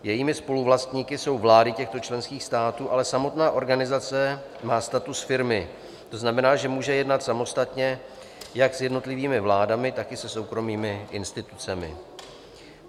Jejími spoluvlastníky jsou vlády těchto členských států, ale samotná organizace má status firmy, to znamená, že může jednat samostatně jak s jednotlivými vládami, tak i se soukromými institucemi.